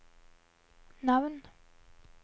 navn